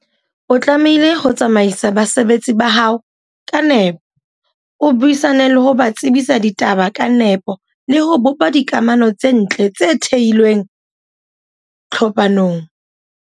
O tlamehile ho tsamaisa basebetsi ba hao ka nepo, o buisane le ho ba tsebisa ditaba ka nepo le ho bopa dikamano tse ntle tse theilweng tlhophanong.